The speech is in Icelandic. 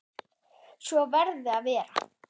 Svo verði að vera.